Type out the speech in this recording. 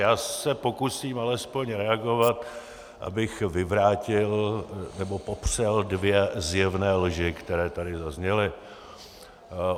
Já se pokusím alespoň reagovat, abych vyvrátil nebo popřel dvě zjevné lži, které tady zazněly.